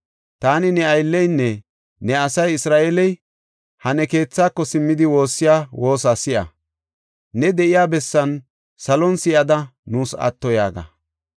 Taani ne aylleynne ne asay Isra7eeley ha ne keethako simmidi woossiya woosa si7a. Ne de7iya bessan salon si7ada nuus atto yaaga.